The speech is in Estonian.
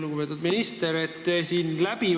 Lugupeetud minister!